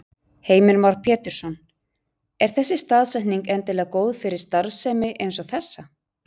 Heimir Már Pétursson: Er þessi staðsetning endilega góð fyrir starfsemi eins og þessa?